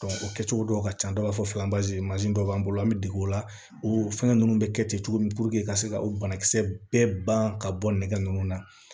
o kɛcogo dɔw ka can dɔw b'a fɔ mansin dɔ b'an bolo an be dege o la o fɛngɛ nunnu be kɛ ten cogo min puruke ka se ka o banakisɛ bɛɛ ban ka bɔ nɛgɛ nunnu na